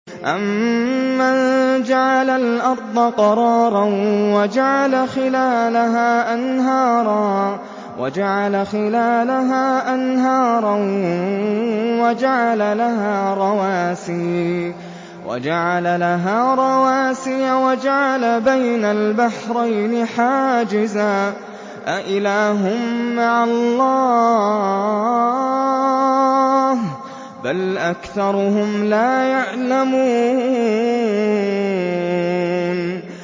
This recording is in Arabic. أَمَّن جَعَلَ الْأَرْضَ قَرَارًا وَجَعَلَ خِلَالَهَا أَنْهَارًا وَجَعَلَ لَهَا رَوَاسِيَ وَجَعَلَ بَيْنَ الْبَحْرَيْنِ حَاجِزًا ۗ أَإِلَٰهٌ مَّعَ اللَّهِ ۚ بَلْ أَكْثَرُهُمْ لَا يَعْلَمُونَ